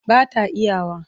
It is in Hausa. Ba ta iya wa.